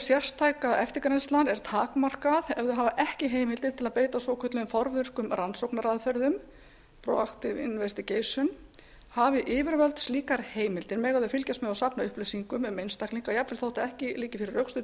sértæka eftirgrennslan er takmarkað ef þau hafa ekki heimildir til að beita svokölluðum forvirkum rannsóknaraðferðum hafi yfirvöld slíkar heimildir mega þau fylgjast með og safna upplýsingum um einstaklinga jafnvel þótt ekki liggi fyrir rökstuddur